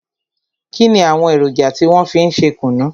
Kínni àwọn èròjà tí wọn fi ń ṣe kùnú?